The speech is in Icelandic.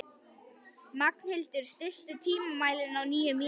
Magnhildur, stilltu tímamælinn á níu mínútur.